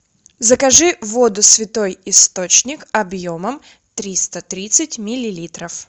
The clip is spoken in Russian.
закажи воду святой источник объемом триста тридцать миллилитров